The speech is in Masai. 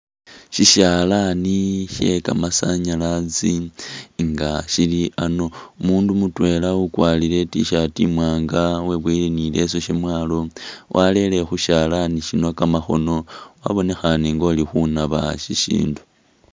Sishalani shekamasanyalazi nga shili a'ano, umundu mutwela ukwalire i't-shirt imwaanga weboyile ni leso shamwalo walele khushalani shino kamakhoono wabonekhane ngo'likhunaaba shishindu